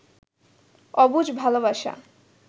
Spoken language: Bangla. অবুঝ ভালবাসা